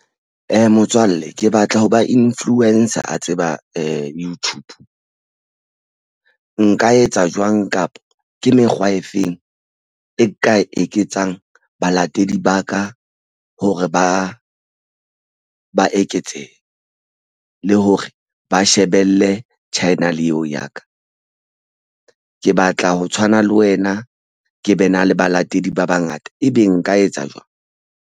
Motswalle ke batla hoba influencer a tseba YouTube nka etsa jwang kapa ke mekgwa e feng e ka eketsang balatedi ba ka hore ba ba eketsehe, le hore ba shebelle channel eo ya ka. Ke batla ho tshwana le wena ke be na le balatedi ba bangata ebe nka etsa jwang?